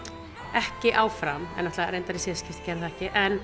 ekki áfram en náttúrulega í síðasta skipti gerði það ekki en